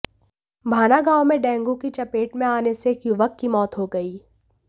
भाना गांव में डेंगू की चपेट में आने से एक युवक की मौत हो गई